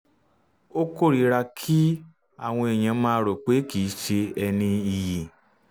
ó kórìíra kí um àwọn èèyàn máa um rò pé kìí ṣe um ẹni iyì